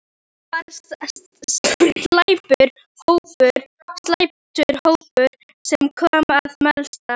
Hann var slæptur hópurinn sem kom að Melstað.